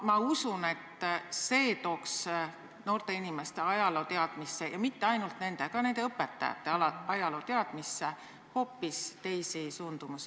Ma usun, et see tooks noorte inimeste – ja mitte ainult nende, vaid ka nende õpetajate – ajalooteadmisse hoopis teisi suundumusi.